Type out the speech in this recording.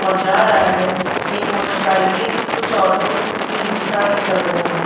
और जा रहा है। एक मोटरसाइकिल कुछ ऑटोज़ भी ई-रिक्शा भी चल रहे हैं।